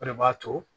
O de b'a to